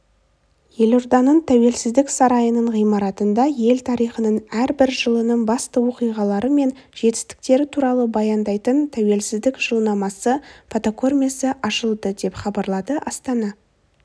елорданың тәуелсіздік сарайының ғимаратында ел тарихының әрбір жылының басты оқиғалары мен жетістіктері туралы баяндайтын тәуелсіздік жылнамасы фотокөрмесі ашылды деп хабарлады астана